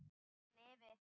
Sé hann yfir